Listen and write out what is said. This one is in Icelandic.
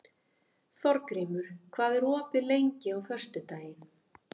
Þórgrímur, hvað er opið lengi á föstudaginn?